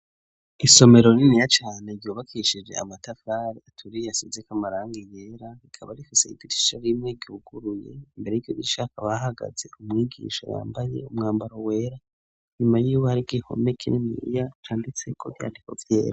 Isomero rininiya cane, ryubakishije Amatafari aturiye, asize k 'Amarangi yera, rikaba rifise Idirisha rimwe ryuguruye ,imbere yiryo dirisha hahagaze umwigisha yambaye umwambaro wera, nyuma yiwe hari i gihome kininiya canditse ko Ivyandiko vyera.